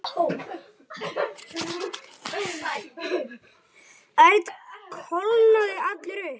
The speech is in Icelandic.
Örn kólnaði allur upp.